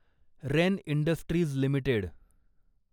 rain Industries limited